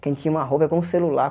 Quem tinha uma roupa, é como celular.